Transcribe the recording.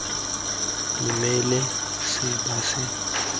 dumele se ba se utlwang